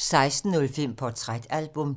16:05: Portrætalbum